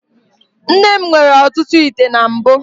Nne m nwere ọtụtụ ite na mbụ.